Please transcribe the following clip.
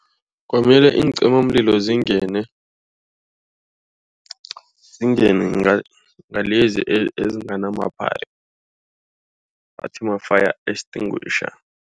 Kwamele iincimamlilo zingene. Zingene nalezi ezingana mapipe bathi ma-fire extinguisher.